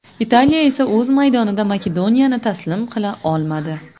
Italiya esa o‘z maydonida Makedoniyani taslim qila olmadi.